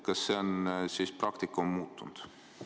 Kas see praktika on siis muutunud?